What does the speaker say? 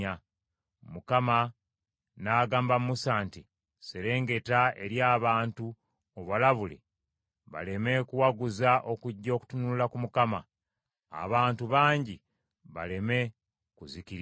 Mukama n’agamba Musa nti, “Serengeta eri abantu obalabule baleme kuwaguza okujja okutunula ku Mukama , abantu bangi baleme kuzikirira.